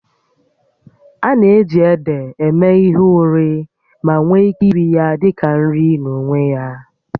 A na-eji ede eme ihe ụrị ma nwee ike iri ya dị ka nri n'onwe ya